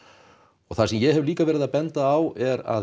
og það sem ég hef líka verið að benda á er að